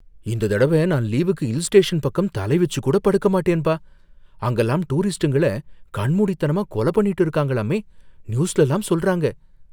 இந்த தடவ நான் லீவுக்கு ஹில் ஸ்டேஷன் பக்கம் தலை வச்சு கூட படுக்க மாட்டேன்பா, அங்கலாம் டூரிஸ்டுங்கள கண்மூடித்தனமா கொலை பண்ணிடுறாங்களாமே, நியூஸ்லலாம் சொல்றாங்க.